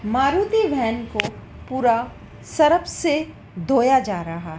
Maruti van को पूरा Surf से धोया जा रहा--